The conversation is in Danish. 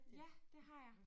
Ja det har jeg